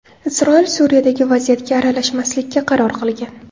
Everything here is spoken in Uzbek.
Isroil Suriyadagi vaziyatga aralashmaslikka qaror qilgan.